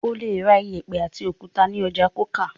O le ra ìyẹ̀pẹ̀ àti òkúta ní ọjà Coker.